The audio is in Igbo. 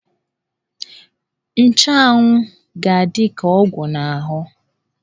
Nchanwụ ga-adị ka ọgwụ n'ahụ.